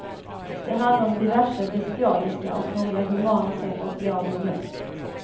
Det handlar om diverse bestialiska och några humana sätt att bli av med möss.